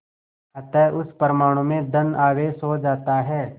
अतः उस परमाणु में धन आवेश हो जाता है